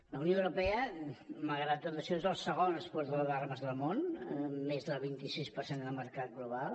la unió europea malgrat tot això és el segon exportador d’armes del món amb més del vint sis per cent del mercat global